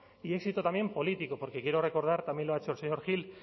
y éxito también político porque quiero recordar también lo ha hecho el señor gil